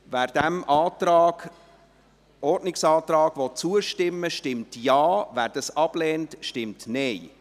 » Wer diesem Ordnungsantrag zustimmen will, stimmt Ja, wer dies ablehnt, stimmt Nein.